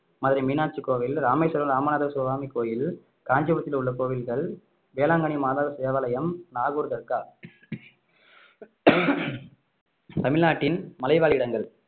மதுரை மீனாட்சி கோவில் ராமேஸ்வரம் ராமநாதசுவாமி கோயில் காஞ்சிபுரத்தில் உள்ள கோவில்கள் வேளாங்கண்ணி மாதா தேவாலயம் நாகூர் தர்கா தமிழ்நாட்டின் மலைவாழ் இடங்கள்